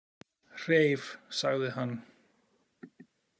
Hreif, sagði hann.